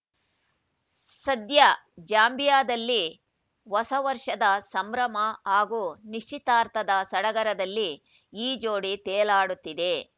ಸದ್ಯ ಜಾಂಬಿಯಾದಲ್ಲಿ ಹೊಸ ವರ್ಷದ ಸಂಭ್ರಮ ಹಾಗೂ ನಿಶ್ಚಿತಾರ್ಥದ ಸಡಗರದಲ್ಲಿ ಈ ಜೋಡಿ ತೇಲಾಡುತ್ತಿದೆ